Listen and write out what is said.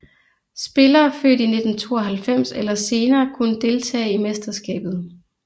Spillere født i 1992 eller senere kunne deltage i mesterskabet